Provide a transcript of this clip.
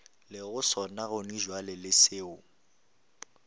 lego sona gonabjale le seo